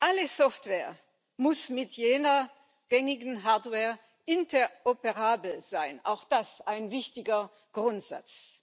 Alle Software muss mit jeder gängigen Hardware interoperabel sein auch das ein wichtiger Grundsatz.